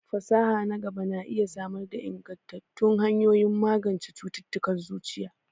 Fasaha na gaba na iya samar da ingantattun hanyoyin magance cututtukan zuciya.